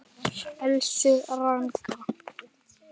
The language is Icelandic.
Elsku Ragga.